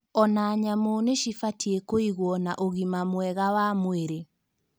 Ona nyamũ nĩ cibatie kũigwo na ũgima mwega wa mwĩrĩ